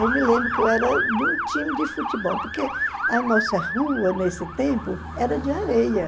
Eu me lembro que eu era de um time de futebol, porque a nossa rua, nesse tempo, era de areia.